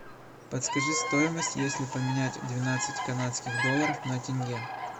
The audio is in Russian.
подскажи стоимость если поменять двенадцать канадских долларов на тенге